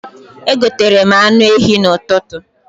Egoterem anụ ehi n'ụtụtụ